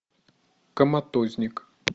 коматозник